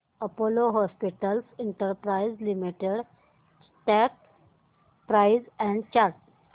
Apollo hospitals enterprise limited stock price and chart